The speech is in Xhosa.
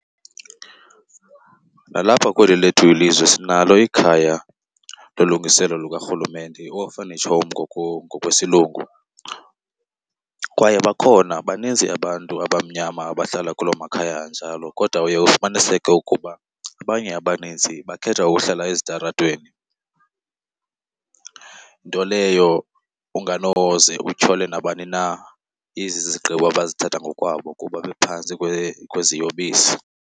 Nalapha kweli lethu ilizwe sinalo ikhaya lolungiselo lukaRhulumente, i-orphanage home ngokwesilungu, kwaye bakhona baninzi abantu abamnyama abahlala kuloo makhaya anjalo. Kodwa uye ufumaniseke ukuba abanye abanintsi bakhetha ukuhlala ezitaratweni, nto leyo unganoze utyhole nabani na, izizigqibo abazithatha ngokwabo kuba bephantsi kweziyobisi.